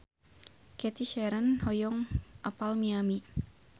Cathy Sharon hoyong apal Miami